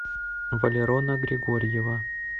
валерона григорьева